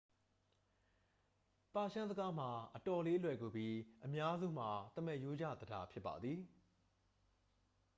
ပါရှန်းစကားမှာ အတော်လေး လွယ်ကူပြီး အများစုမှာ သမားရိုးကျ သဒ္ဒါ ဖြစ်ပါသည်